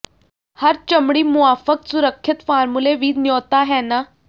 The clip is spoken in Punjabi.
ਹਰ ਚਮੜੀ ਮੁਆਫਕ ਸੁਰੱਖਿਅਤ ਫ਼ਾਰਮੂਲੇ ਵੀ ਨਿਉਤਾ ਹੈ ਨਾ